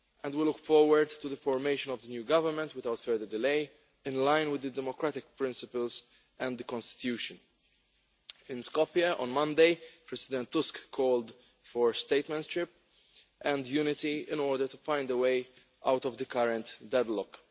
We look forward to the formation of the new government without further delay in line with democratic principles and the constitution. In Skopje on Monday, President Tusk called for statesmanship and unity in order to find a way out of the current deadlock.